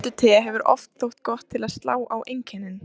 Piparmyntute hefur oft þótt gott til að slá á einkennin.